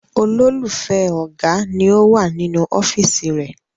Olólùfẹ́ ọ̀gá ni ó wà nínú ọ́fíísì rẹ̀.